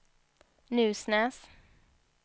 Nusnäs